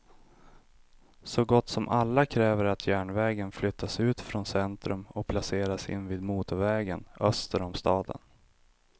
Så gott som alla kräver att järnvägen flyttas ut från centrum och placeras invid motorvägen öster om staden.